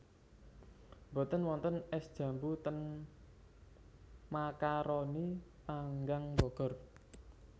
Mboten wonten es jambu ten Macaroni Panggang Bogor